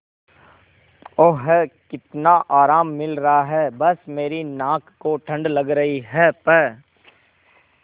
ओह कितना आराम मिल रहा है बस मेरी नाक को ठंड लग रही है प्